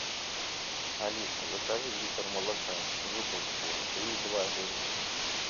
алиса закажи литр молока жуковского три и два жирность